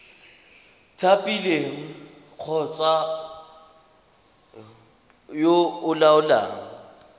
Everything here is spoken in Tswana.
thapilweng kgotsa yo o laolang